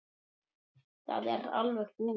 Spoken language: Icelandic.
Það er alveg búið.